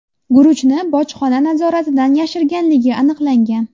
guruchni bojxona nazoratidan yashirganligi aniqlangan.